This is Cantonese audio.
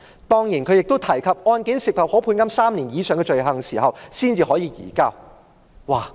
當然，政府亦提及案件涉及可判監3年以上的罪行時，才可以移交逃犯。